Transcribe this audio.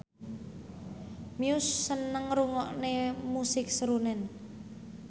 Muse seneng ngrungokne musik srunen